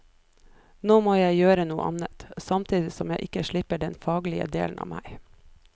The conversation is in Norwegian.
Nå må jeg gjøre noe annet, samtidig som jeg ikke slipper den faglige delen av meg.